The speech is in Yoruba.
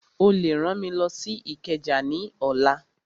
Ó lè rán mi lọ sí Ìkẹjà ní ọ̀la